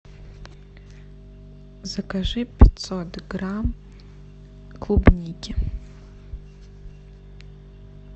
закажи пятьсот грамм клубники